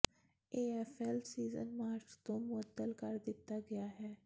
AFL season March ਤੋਂ ਮੁਅੱਤਲ ਕਰ ਦਿੱਤਾ ਗਿਆ ਹੈ